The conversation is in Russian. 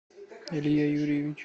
илья юрьевич